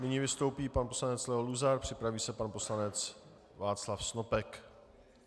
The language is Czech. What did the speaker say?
Nyní vystoupí pan poslanec Leo Luzar, připraví se pan poslanec Václav Snopek.